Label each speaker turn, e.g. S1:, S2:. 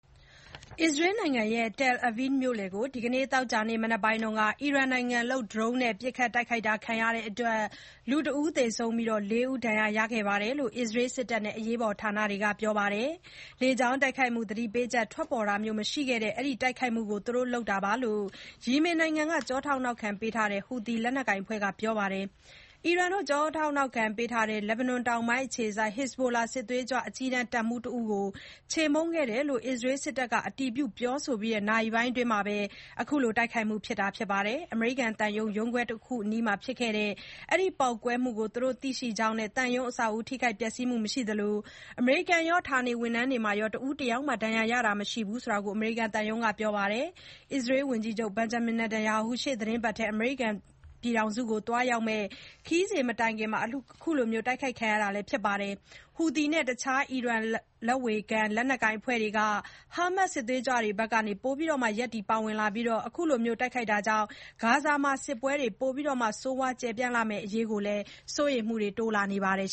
S1: အစ္စရေးနိုင်ငံ Tel Aviv မြို့လယ်ကို ဒီကနေ့သောကြာနေ့ မနက်ပိုင်းက အီရန်နိုင်ငံလုပ် ဒရုန်းနဲ့ ပစ်ခတ် တိုက်ခိုက်တာခံရလို့ လူတဦး သေဆုံးပြီး လေးဦးဒဏ်ရာ အနည်းငယ်ရခဲ့တယ်လို့ အစ္စရေးစစ်တပ်နဲ့ အရေးပေါ် ဌာနတွေက ပြောပါတယ်။ လေကြောင်းတိုက်ခိုက်မှု သတိပေးချက် ထွက်ပေါ်တာမျိုး မရှိခဲ့တဲ့ ဒီတိုက်ခိုက်မှုကို သူတို့လုပ်တာလို့ ယီမင်နိုင်ငံ ကျောထောက် နောက်ခံပေးထားတဲ့ ဟူသီ လက်နက်ကိုင်အဖွဲ့က ပြောဆိုထားပါတယ်။ အီရန် ကျောထောက် နောက်ခံပေးထားတဲ့ လက်ဘနွန် တောင်ပိုင်းအခြေစိုက် ဟက်ဇ်ဘိုလာ စစ်သွေးကြွ အကြီးတန်း တပ်မှူးတဦးကို ချေမှုန်းခဲ့တယ်လို့ အစ္စရေးစစ်တပ်က အတည်ပြု ပြောဆိုပြီး နာရီပိုင်းအတွင်းမှာ အခု တိုက်ခိုက်မှု ဖြစ်တာပါ။ အမေရိကန်သံရုံး ရုံးခွဲတခုအနီး ဖြစ်ခဲ့တဲ့ ဒီပေါက်ကွဲမှုကို သူတို့ သိရှိကြောင်းနဲ့ သံရုံးအဆောက်အဦ ထိခိုက်ပျက်စီးမှု မရှိသလို၊ အမေရိကန်ရော၊ ဌာနေဝန်ထမ်းတွေထဲမှာရော တဦးတယောက်မှာ ဒဏ်ရာရတာမျိုး မရှိကြောင်း အမေရိကန်သံရုံး ပြောပါတယ်။ အစ္စရေးဝန်ကြီးချုပ် Benjamin Netanyahu ရှေ့သီတင်းပတ်ထဲ အမေရိကန်ပြည်ထောင်စုကို သွားရောက်မယ့် ခရီးစဉ်မတိုင်ခင် ခုလို တိုက်ခိုက်ခံရတာလည်း ဖြစ်ပါတယ်။ ဟူသီနဲ့ တခြား အီရန် လက်ဝေခံ လက်နက်ကိုင် အဖွဲ့တွေက ဟာမတ်စ် စစ်သွေးကြွအဖွဲ့ ဘက်က ပိုမို ရပ်တည်ပါဝင်လာနေပြီး ခုလို တိုက်ခိုက်တာကြောင့် ဂါဇာမှာ စစ်ပွဲတွေ ပိုမို ဆိုးရွား ကျယ်ပြန့်လာမယ့်အရေး စိုးရိမ်မှုတွေလည်း တိုးလာပါတယ်